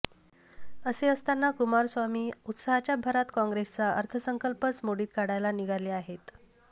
असे असताना कुमारस्वामी उत्साहाच्या भरात काँग्रेसचा अर्थसंकल्पच मोडीत काढायला निघाले आहेत